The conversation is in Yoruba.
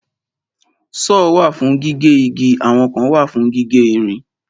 Sọ́ọ̀ wà fún gígé igi àwọn kan wà fún gígé ìrìn.